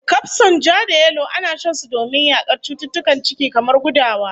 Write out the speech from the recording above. Kafson ja-da-yalo ana shan su domin yakar cututtukan ciki, kamar gudawa